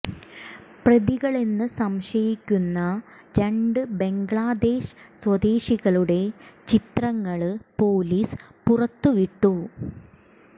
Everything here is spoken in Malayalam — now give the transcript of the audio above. പ്രതികളെന്ന് സംശയിക്കുന്ന രണ്ട് ബംഗ്ലാദേശ് സ്വദേശികളുടെ ചിത്രങ്ങള് പൊലിസ് പുറത്തു വിട്ടു